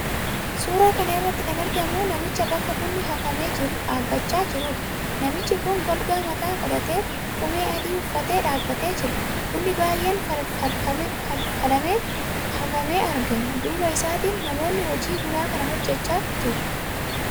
Suuraa kana irratti kan argamu namicha bakka bunni hafamee jiru dhaabbachaa jiruudha. Namtichi kun golgaa mataa godhatee, qomee adii uffatee dhaabbatee jira. Bunni baay'een falfalamee hafamee argama. Duuba isaatiin namootni hojii bunaa kana hojjechaa jiru.